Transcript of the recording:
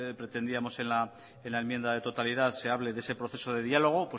pretendíamos en la enmienda de totalidad se hable de ese proceso de diálogo